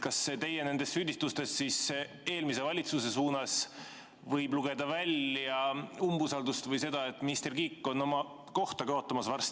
Kas teie süüdistustest eelmise valitsuse pihta võib lugeda välja umbusaldust või seda, et minister Kiik on oma kohta kaotamas?